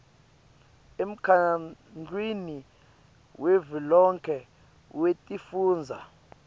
emkhandlwini wavelonkhe wetifundza